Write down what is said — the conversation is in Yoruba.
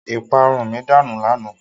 Ìparun mi danù lánàá.